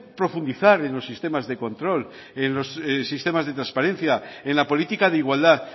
profundizar en los sistemas de control en los sistemas de transparencia en la política de igualdad